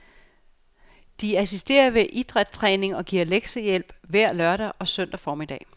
De assisterer ved idrætstræningen og giver lektiehjælp hver lørdag og søndag formiddag.